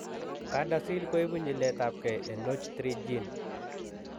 CADASIL koibu nyiletabgei en NOTCH3 gene